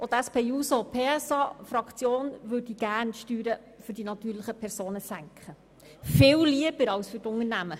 Auch die SP-JUSO-PSA-Fraktion würde gerne die Steuern der natürlichen Personen senken, viel lieber als jene der Unternehmen.